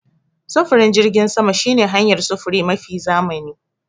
Sufurin jirgin sama shine hanayar sufuri mafi zamani.